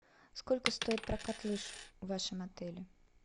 сколько стоит прокат лыж в вашем отеле